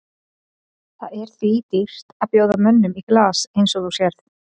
Það er því dýrt að bjóða mönnum í glas eins og þú sérð.